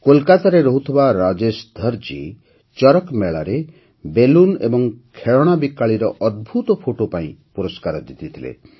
କୋଲକାତାରେ ରହୁଥିବା ରାଜେଶ ଧର ଜୀ ଚରକ ମେଳାରେ ବେଲୁନ ଓ ଖେଳଣା ବିକାଳିର ଅଦ୍ଭୁତ ଫଟୋ ପାଇଁ ପୁରସ୍କାର ଜିତିଥିଲେ